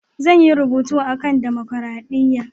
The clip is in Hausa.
Zan yi rubutu a kan damakaraɗiya.